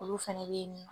Olu fɛnɛ bɛ yen nɔ